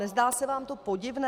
Nezdá se vám to podivné?